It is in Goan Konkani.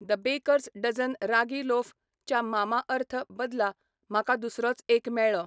The Baker's Dozen ragi loaf च्या मामाअर्थ बदला म्हाका दुसरोच एक मेळ्ळो.